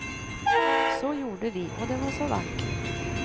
Så gjorde vi, och det var så vackert.